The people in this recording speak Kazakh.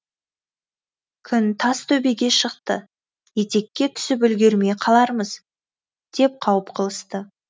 күн тас төбеге шықты етекке түсіп үлгермей қалармыз деп қауіп қылысты